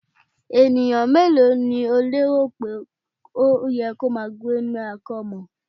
Ènìyàn mélòó ni o lérò pé ó yẹ kí ó máa gbé ní ilé-àkọ́mọ́?